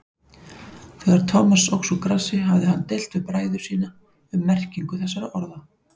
Þegar Thomas óx úr grasi hafði hann deilt við bræður sína um merkingu þessara orða.